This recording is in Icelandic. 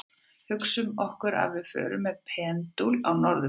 Hugsum okkur að við förum með pendúl á norðurpólinn.